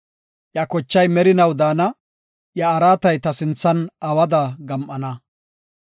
Iya kochay merinaw daana; iya araatay ta sinthan awada gam7ana.